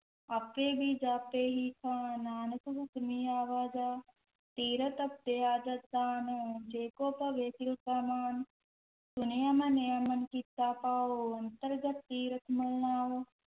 ਆਪੇ ਬੀਜਿ ਆਪੇ ਹੀ ਖਾਹੁ, ਨਾਨਕ ਹੁਕਮੀ ਆਵਾ ਜਾਹੁ, ਤੀਰਥੁ ਤਪੁ ਦਇਆ ਦਤੁ ਦਾਨੁ, ਜੇ ਕੋ ਪਵੈ ਤਿਲ ਕਾ ਮਾਨੁ, ਸੁਣਿਆ ਮੰਨਿਆ ਮਨਿ ਕੀਤਾ ਭਾਉ, ਅੰਤਰਗਤ ਤੀਰਥਿ ਮਲਿ ਨਾਉ,